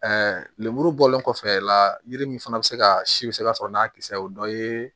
lemuru bɔlen kɔfɛ la yiri min fana bɛ se ka si bɛ se ka sɔrɔ n'a kisɛ o dɔ ye